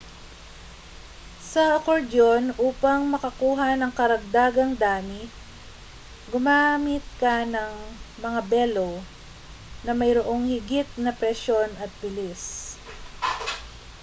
sa akordyon upang makakuha ng karagdagang dami gumamit ka ng mga bellow na mayroong higit na presyon at bilis